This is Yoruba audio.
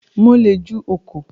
Mo le ju ọkọ̀